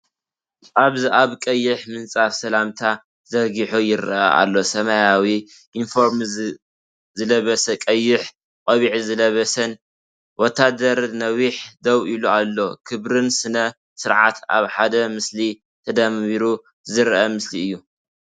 ኣብዚ ኣብ ቀይሕ ምንፃፍ ሰላምታ ተዘርጊሑ ይረአ ኣሎ። ሰማያዊ ዩኒፎርም ዝለበሰን ቀይሕ ቆቢዕ ዝለበሰን ወተሃደር ነዊሕ ደው ኢሉ ኣሎ። ክብርን ስነ-ስርዓትን ኣብ ሓደ ምስሊ ተደሚሩ ዘርኢ ምስሊ እዩ።